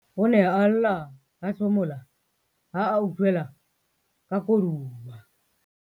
o ne a lla a hlomola ha a utlwela ka koduwa